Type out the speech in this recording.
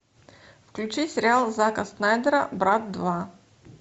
включи сериал зака снайдера брат два